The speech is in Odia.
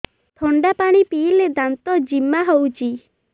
ଥଣ୍ଡା ପାଣି ପିଇଲେ ଦାନ୍ତ ଜିମା ହଉଚି